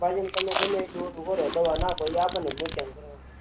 શાકભાજી ન તમે ગમેતે એટલું દવા નાખો એ આપણે જ નુકસાન કરવાનું